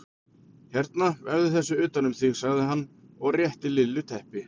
Hérna vefðu þessu utan um þig sagði hann og rétti Lillu teppi.